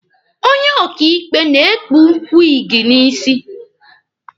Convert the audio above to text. Onye ọkaịkpe na-ekpu wiigi n'isi.